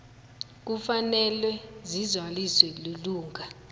kufanele sizaliswe lilunga